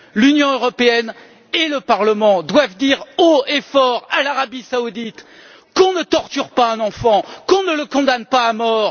L'Union européenne et le Parlement doivent dire haut et fort à l'Arabie saoudite qu'on ne torture pas un enfant, qu'on ne le condamne pas à mort.